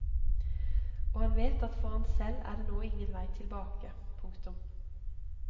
Og han vet at for ham selv er det nå ingen vei tilbake. punktum